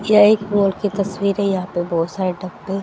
यह एक वॉल की तस्वीरें यहां पे बहोत सारे डब्बे--